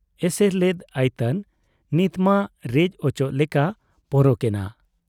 ᱮᱥᱮᱨ ᱞᱮᱫ ᱟᱭᱛᱟᱱ ᱱᱤᱛᱢᱟ ᱨᱮᱡ ᱚᱪᱚᱜ ᱞᱮᱠᱟ ᱯᱚᱨᱚᱠ ᱮᱱᱟ ᱾